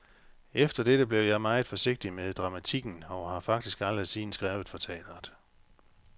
Efter dette blev jeg meget forsigtig med dramatikken og har faktisk aldrig siden skrevet for teatret.